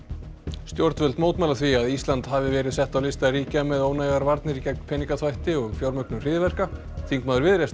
stjórnvöld mótmæla því að Ísland hafi verið sett á lista ríkja með ónægar varnir gegn peningaþvætti og fjármögnun hryðjuverka þingmaður Viðreisnar